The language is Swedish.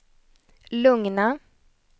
lugna